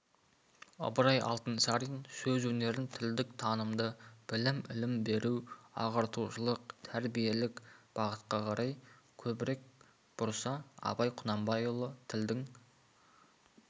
ыбырай алтынсарин сөз өнерін тілдік танымды білім ілім беру ағартушылық тәрбиелік бағытқа қарай көбірек бұрса абай құнанбайұлы тілдің